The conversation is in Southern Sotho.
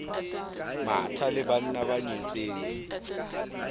matha le banna ba nyetseng